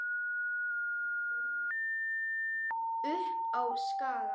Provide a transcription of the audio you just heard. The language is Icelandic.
Upp á Skaga?